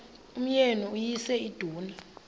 umyeni uyise iduna